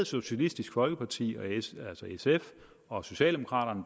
socialistisk folkeparti altså sf og socialdemokraterne